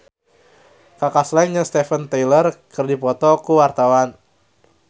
Kaka Slank jeung Steven Tyler keur dipoto ku wartawan